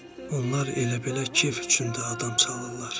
Onlar elə-belə kef üçün də adam çalırlar.